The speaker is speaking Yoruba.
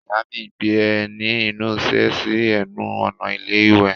Ìyá mi gbé ẹní ìnusẹ̀ sí ẹnu ọ̀nà ilé iwẹ̀.